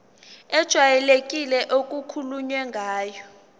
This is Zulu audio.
ejwayelekile okukhulunywe ngayo